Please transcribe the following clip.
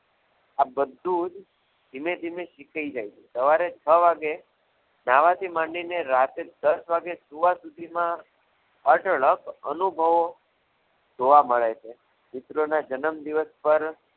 આ બધું જ ધીમે ધીમે શીખાઈ જાય છે સવારે છ વાગે નાહવાથી માંડીને રાત્રે દસ વાગ્યા સુધી સૂવા સુધીમાં અઢળક અનુભવો જોવા મળે છે મિત્રોના જન્મદિવસ પર